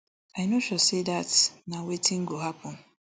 i no sure say dat na wetin go happun